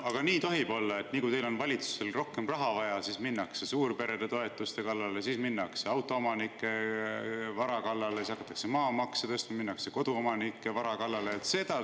Aga kas nii tohib olla, et kui valitsusel on rohkem raha vaja, siis minnakse suurperede toetuste kallale, siis minnakse autoomanike vara kallale, siis hakatakse maamaksu tõstma ja minnakse koduomanike vara kallale?